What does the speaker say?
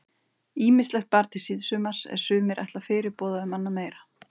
Ýmislegt bar til síðsumars er sumir ætla fyrirboða um annað meira.